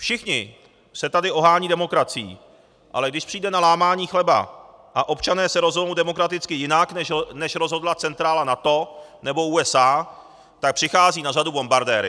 Všichni se tady ohánějí demokracií, ale když přijde na lámání chleba a občané se rozhodnou demokraticky jinak, než rozhodla centrála NATO nebo USA, tak přicházejí na řadu bombardéry.